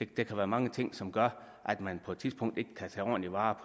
kan være mange ting som gør at man på et tidspunkt ikke kan tage ordentlig vare